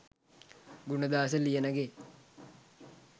Gunadasa Liyanage